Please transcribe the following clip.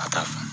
A ta fa